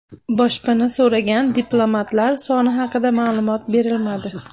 Boshpana so‘ragan diplomatlar soni haqida ma’lumot berilmadi.